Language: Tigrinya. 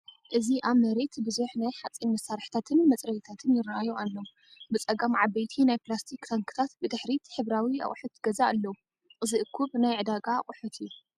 እዚ ኣብ መሬት ብዙሕ ናይ ሓጺን መሳርሕታትን መጽረዪታትን ይረኣዩ ኣለው። ብጸጋም ዓበይቲ ናይ ፕላስቲክ ታንክታት፡ ብድሕሪት ሕብራዊ ኣቑሑት ገዛ ኣለው። እዚ እኩብ ናይ ዕዳጋ ኣቑሑት'ዩ።